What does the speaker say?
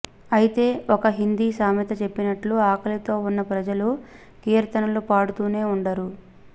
అయితే ఒక హిందీ సామెత చెప్పినట్టు ఆకలితో ఉన్న ప్రజలు కీర్తనలు పాడుతూనే వుండరు